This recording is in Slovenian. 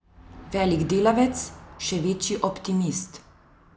Velik delavec, še večji optimist.